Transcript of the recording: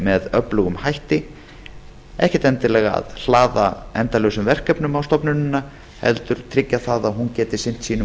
með öflugum hætti ekki endilega að hlaða endalausum verkefnum á stofnunina heldur tryggja það að hún geti sinnt sínum